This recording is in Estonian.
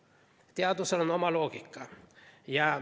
Teadusel on oma loogika.